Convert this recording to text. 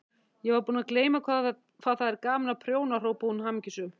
Ég var búin að gleyma hvað það er gaman að prjóna hrópaði hún hamingjusöm.